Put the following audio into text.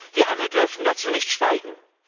Wir alle dürfen dazu nicht schweigen.